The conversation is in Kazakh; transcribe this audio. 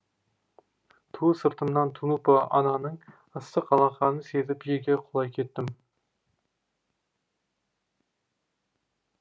ту сыртымнан тунупа ананың ыстық алақанын сезіп жерге құлай кеттім